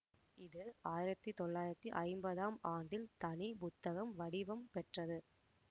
இது ஆயிரத்தி தொள்ளாயிரத்தி ஐம்பதாம் ஆண்டில் தனி புத்தக வடிவம் பெற்றது